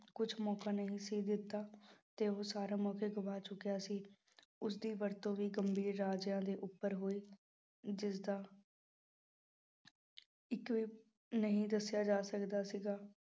ਕੁਛ ਮੋਕਾ ਨਹੀਂ ਸੀ ਦਿੱਤਾ ਤੇ ਉਹ ਸਾਰੇ ਮੌਕੇ ਗਵਾ ਚੁੱਕਿਆ ਸੀ, ਉਸਦੀ ਵਰਤੋਂ ਵੀ ਗੰਭੀਰ ਰਾਜਿਆਂ ਦੇ ਉੱਪਰ ਹੋਏ, ਜਿਸਦਾ ਨਹੀਂ ਦੱਸਿਆ ਜਾ ਸਕਦਾ ਸੀਗਾ।